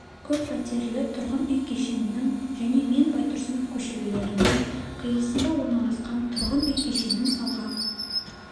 көп пәтерлі тұрғын үй кешенінің және мен байтұрсынов көшелерінің қиылысында орналасқан тұрғын үй кешенін салған